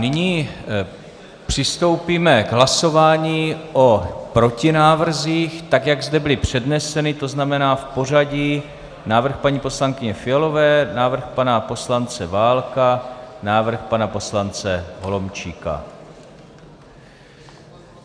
Nyní přistoupíme k hlasování o protinávrzích, tak jak zde byly předneseny, to znamená v pořadí: návrh paní poslankyně Fialové, návrh pana poslance Válka, návrh pana poslance Holomčíka.